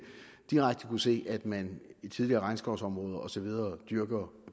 direkte kunne se at man i tidligere regnskovsområder og så videre dyrker